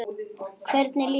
Hvernig líður honum?